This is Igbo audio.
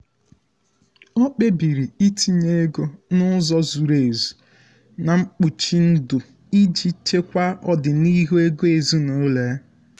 ọ kpebiri itinye ego n’ụzọ zuru ezu na um mkpuchi ndụ iji um chekwaa ọdịnihu ego ezinụlọ ya.